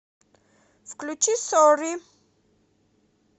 включи сорри